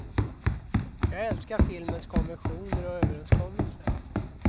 Jag älskar filmens konventioner och överenskommelser.